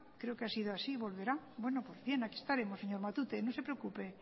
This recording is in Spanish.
creo que ha sido así volverá aquí estaremos señor matute no se preocupe